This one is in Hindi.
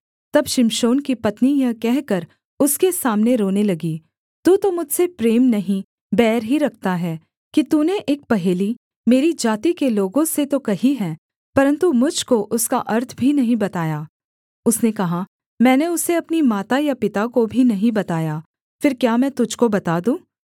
तब शिमशोन की पत्नी यह कहकर उसके सामने रोने लगी तू तो मुझसे प्रेम नहीं बैर ही रखता है कि तूने एक पहेली मेरी जाति के लोगों से तो कही है परन्तु मुझ को उसका अर्थ भी नहीं बताया उसने कहा मैंने उसे अपनी माता या पिता को भी नहीं बताया फिर क्या मैं तुझको बता दूँ